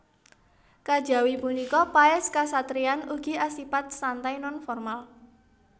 Kajawi punika paès kasatriyan ugi asipat santai non formal